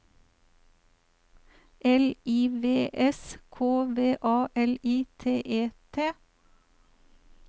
L I V S K V A L I T E T